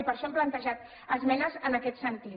i per això hem plantejat esmenes en aquest sentit